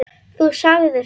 Þú sagðir það.